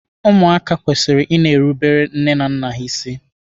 Ụmụ kwesịrị i na-erubere nne na nna ha isi.